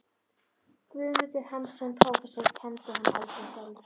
Guðmundur Hannesson, prófessor, kenndi hana aldrei sjálfur.